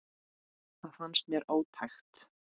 Það fannst mér ótækt.